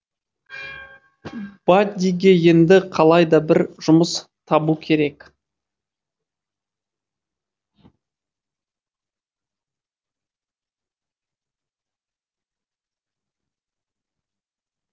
баддиге енді қалай да бір жұмыс табу керек